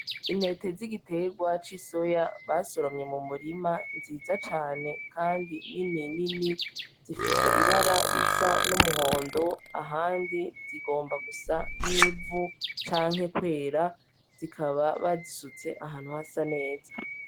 Intete zigitegwa cisoya basoromye mu murima nziza cane kandi nini nini zifise ibara risa numuhondo ahandi zigomba gusa nivu canke kwera zikaba bazisutse ahantu hasa neza.